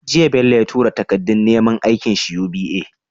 Jiya Bello ya tura takadun neman aikin shi UBA?